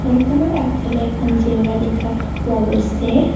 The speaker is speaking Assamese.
ঘৰখনৰ আগফালে এখন জেউৰা দেখা পোৱা গৈছে।